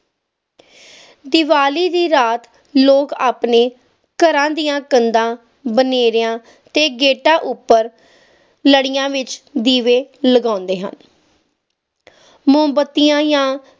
ਦੀਵਾਲੀ ਦੀ ਰਾਤ ਲੋਕ ਆਪਣੇ ਘਰਾਂ ਦੀਆਂ ਕੰਧਾਂ ਗੇਟਾਂ ਅਤੇ ਬਨੇਰਿਆਂ ਉੱਤੇ ਲੜੀਆਂ ਦੀਵੇ ਲਗਾਉਂਦੇ ਹਨ ਮੋਮਬੱਤੀਆਂ ਯਾ